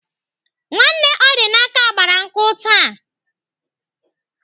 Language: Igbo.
Nwanne Ọdịnaka gbara nkwụ taa.